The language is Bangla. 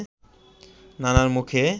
নানার মুখে